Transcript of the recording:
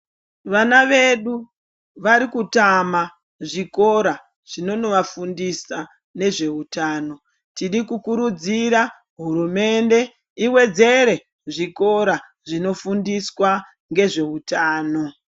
Vana vedu varikutama zvikora zvinonovafundisa nezveutano. Tiri kukurudzira hurumende ivedzere zvikora zvinofundiswa ngezveutano.